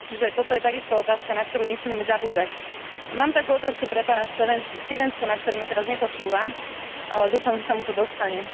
Čiže toto je takisto otázka, na ktorú nesmieme zabúdať. Mám takú otázku pre pána Stevensona, ktorý ma teraz nepočúva, ale dúfam, že sa mu to dostane.